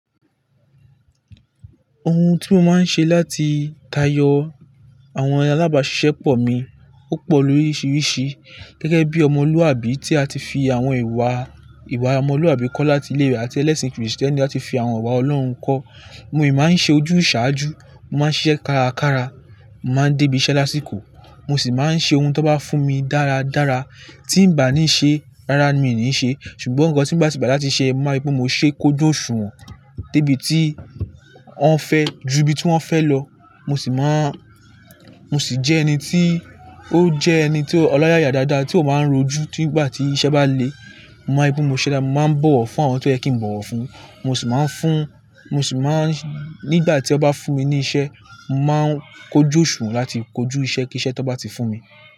Ohun tí mo máa ń ṣe láti tayọ àwọn alábàáṣiṣẹ́pọ̀ mi ó pọ̀ lóríṣiríṣi. Gẹ́gẹ́ bí ọmọlúàbí tí a ti fi àwọn ìwà, ìwà ọmọlúàbí kọ́ láti ilé àti ẹlẹ́sìn Kristẹni láti fi àwọn ìwà Ọlọ́run kọ́. Mo yi máa ń ṣe ojúṣàájú, mo máa ń ṣiṣẹ́ kárakára, mo máa ń dé ibi iṣẹ́ lásìkò, mo sì máa ń ṣe ohun tó bá fún mi dáradára. Tí ń ba ní ṣe, rárá ni mi ní ṣe. Ṣùgbọ́n ohun kan tí bá ti gbá láti ṣe, mo ma ri pé mo ṣe kóju osuwọn dé ibi tí wọ́n fẹ́ ju ibi tí wọ́n fẹ́ lọ. Mo sì máa ń, mo sì jẹ́ ẹni tí ó jẹ́ ẹni tí ọloyaya dáadáa tí ó máa ń rojú tí ìgbà tí iṣẹ́ bá le. Mo man rípé mo ṣe dáda mo máa ń bọ̀wọ̀ fún àwọn tó yẹ kí n bọ̀wọ̀ fún, mo sì máa ń fún, mo sì máa ń nígbà tí wọ́n bá fún mi ní iṣẹ́, màá ń kó jóṣù láti kojú iṣẹ́ kí iṣẹ́ tó bá ti fún mi.